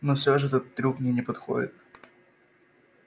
но все же этот трюк мне не подходит